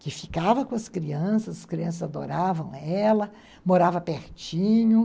Que ficava com as crianças, as crianças adoravam ela, morava pertinho.